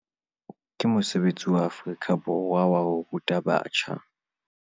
Ke mosebetsi wa Afrika Borwa waho ruta batjha